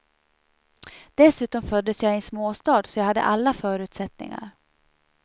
Dessutom föddes jag i en småstad, så jag hade alla förutsättningar.